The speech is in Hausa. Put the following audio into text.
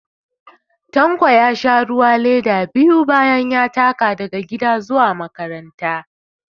Tanko ya sha ruwa leda biyu da ya taka daga gida zuwa makaranta